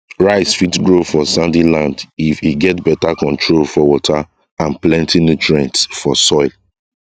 rice fit grow for sandy land if e get better control for water and plenty nutrients for soil